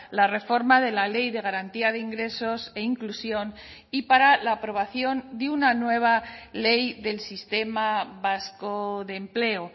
la reforma de la ley de garantía de ingresos e inclusión y para la aprobación de una nueva ley del sistema vasco de empleo